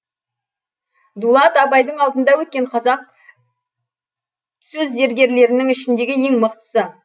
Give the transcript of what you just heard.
дулат абайдың алдында өткен қазақ сөз зергерлерінің ішіңдегі ең мықтысы